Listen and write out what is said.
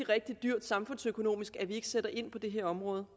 rigtig dyrt samfundsøkonomisk at vi ikke sætter ind på det her område